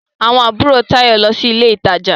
Àwọn àbúrò Táyọ̀ ń lọ sí ilé ìtajà.